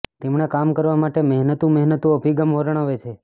તેમણે કામ કરવા માટે મહેનતું મહેનતું અભિગમ વર્ણવે છે